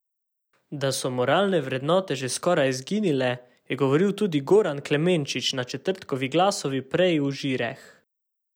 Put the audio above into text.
Da so moralne vrednote že skoraj izginile, je govoril tudi Goran Klemenčič na četrtkovi Glasovi preji v Žireh.